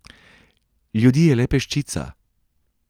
Ljudi je le peščica.